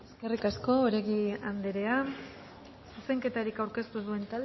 eskerrik asko oregi andrea zuzenketarik aurkeztu ez duen